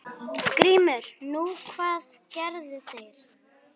GRÍMUR: Nú, hvað gerðu þeir?